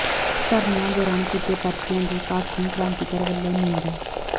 ਧਰਨਿਆਂ ਦੌਰਾਨ ਕੀਤੇ ਪਰਚਿਆਂ ਦੀ ਭਾਕਿਯੂ ਕ੍ਰਾਂਤੀਕਾਰੀ ਵੱਲੋਂ ਨਿੰਦਾ